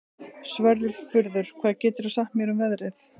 Svörfuður, hvað geturðu sagt mér um veðrið?